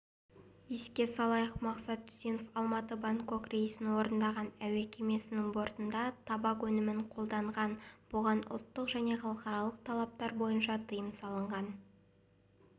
еске салайық мақсат үсенов алматы-бангкок рейсін орындаған әуе кемесінің бортында табак өнімін қолданған бұған ұлттық және халықаралық талаптар бойынша тыйым салынған